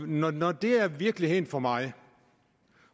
når når det er virkeligheden for mig